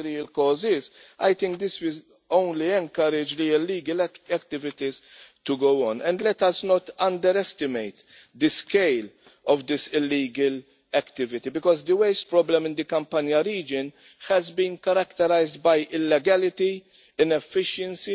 real cause is, I think this will only encourage the illegal activities to go on. And let us not underestimate the scale of this illegal activity because the waste problem in the Campania region has been characterised by illegality, inefficiency,